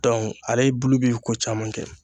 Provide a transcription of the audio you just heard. Dɔnku ale bulu bi kocaman kɛ